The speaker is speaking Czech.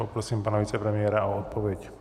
Poprosím pana vicepremiéra o odpověď.